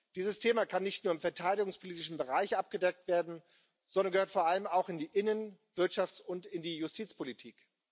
Dieses Thema kann nicht nur im verteidigungspolitischen Bereich abgedeckt werden, sondern gehört vor allem auch in die Innen Wirtschafts und in die Justizpolitik.